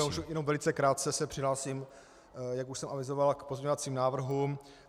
Já už jenom velice krátce se přihlásím, jak už jsem avizoval, k pozměňovacím návrhům.